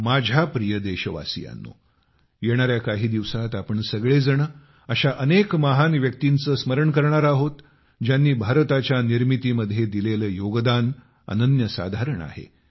माझ्या प्रिय देशवासियांनो येणाऱ्या काही दिवसात आपण सगळेजण अशा अनेक महान व्यक्तींचे स्मरण करणार आहोत ज्यांनी भारताच्या निर्मितीमध्ये दिलेले योगदान अनन्यसाधारण आहे